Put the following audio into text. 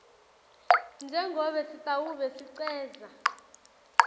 njengobe sitawube sicedza